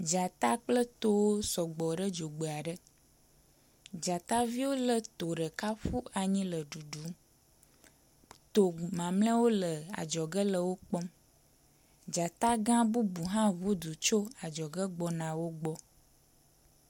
Dzata kple tòwó sɔgbɔ ɖe dzogbeaɖe dzataviwo le tò ɖeka ƒu anyi le ɖuɖum tò mamliawo le adzɔge le wókpɔm dzatagã bubu hã ʋudu tso adzɔge gbɔna wógbɔ